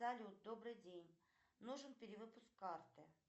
салют добрый день нужен перевыпуск карты